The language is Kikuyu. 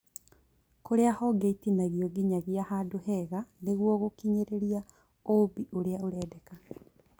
kũrĩa honge itinagio nginyagia handũ hega nĩguo gũkinyĩria ũũmbi ũrĩa ũrendeka